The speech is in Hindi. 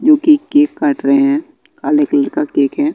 क्योंकि केक काट रहे हैं काले कलर का केक है।